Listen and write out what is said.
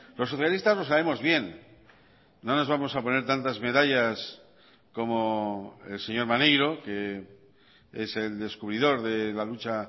los socialistas lo sabemos bien no nos vamos a poner tantas medallas como el señor maneiro que es el descubridor de la lucha